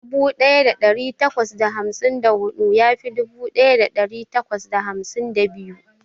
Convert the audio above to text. Dubu daya dari takwas da hamsin da hudu ya fi dubu daya dari takwas da hamsin da biyu.